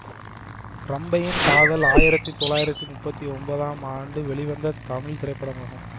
ரம்பையின் காதல் ஆயிரத்தி தொள்ளாயிரத்தி முப்பத்தி ஒன்பதாம் ஆண்டு வெளிவந்த தமிழ் திரைப்படமாகும்